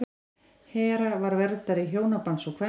hera var verndari hjónabands og kvenna